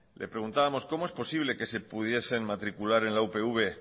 le preguntábamos cómo es posible que se pudiesen matricular en la upv